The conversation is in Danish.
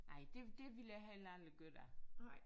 Nej det det ville jeg heller aldrig gøre da